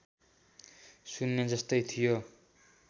शून्य जस्तै थियो